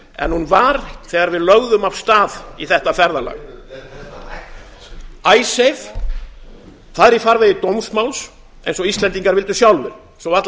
en hún var þegar við lögðum af stað í þetta ferðalag icesave er í farvegi dómsmáls eins og íslendingar vildu sjálfir svo varla